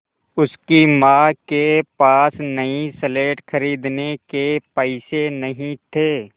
उसकी माँ के पास नई स्लेट खरीदने के पैसे नहीं थे